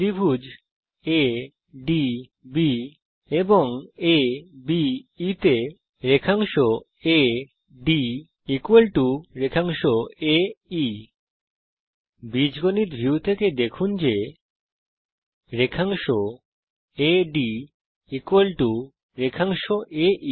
ত্রিভুজ এডিবি এবং আবে তে রেখাংশ আদ রেখাংশ এই বৃত্ত সি এর ব্যাসার্ধ বীজগণিত ভিউ থেকে দেখুন যে রেখাংশ আদ রেখাংশ এই